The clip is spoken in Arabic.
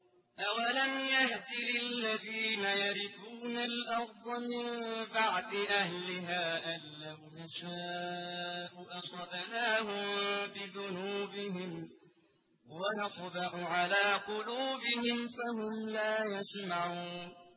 أَوَلَمْ يَهْدِ لِلَّذِينَ يَرِثُونَ الْأَرْضَ مِن بَعْدِ أَهْلِهَا أَن لَّوْ نَشَاءُ أَصَبْنَاهُم بِذُنُوبِهِمْ ۚ وَنَطْبَعُ عَلَىٰ قُلُوبِهِمْ فَهُمْ لَا يَسْمَعُونَ